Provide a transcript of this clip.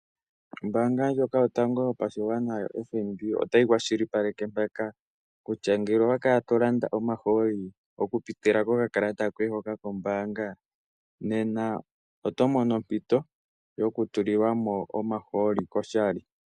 Ombaanga ndjoka yotango yopashigwana yoFNB otayi kwashilipaleke mpaka kutya ngele owa kala to landa omahooli oku pitila ko kakalata koye hoka kombaanga, nena oto mono ompito yoku tulilwamo omahooli koshali.